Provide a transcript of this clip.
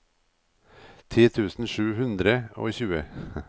ti tusen sju hundre og tjue